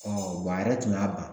wa a yɛrɛ tun y'a ban